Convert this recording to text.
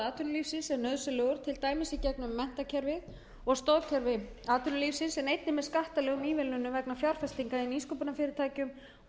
atvinnulífsins er nauðsynlegur til dæmis í gegnum menntakerfi og stoðkerfi atvinnulífsins en einnig með skattalegum ívilnunum vegna fjárfestinga í nýsköpunarfyrirtækjum og